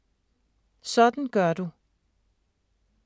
Sådan gør du: